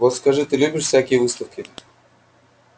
вот скажи ты любишь всякие выставки